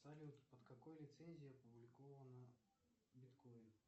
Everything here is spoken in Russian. салют под какой лицензией опубликована биткоин